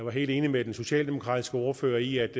er helt enig med den socialdemokratiske ordfører i at